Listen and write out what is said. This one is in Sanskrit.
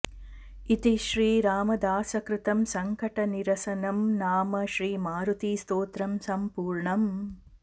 इति श्री रामदासकृतं संकटनिरसनं नाम श्री मारुतिस्तोत्रम् सम्पूर्णम्